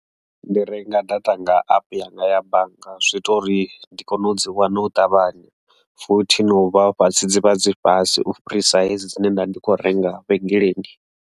Ndi renga data nga epe yanga ya bannga zwi ita uri ndi kone u dzi wana u ṱavhanya, futhi no u vha fhasi dzivha dzi fhasi ufhirisa hedzo dzine nda ndi kho renga vhengeleni.